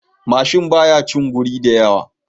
Mashin baya shin guri da yawa